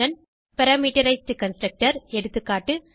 addition parameterised constructor